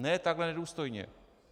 Ne takhle nedůstojně.